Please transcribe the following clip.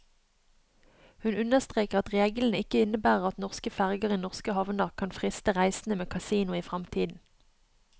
Hun understreker at reglene ikke innebærer at norske ferger i norske havner kan friste reisende med kasino i fremtiden.